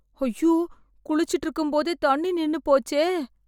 ஐயோ... குளிச்சிட்டு இருக்கும்போதே தண்ணி நின்னுபோச்சே...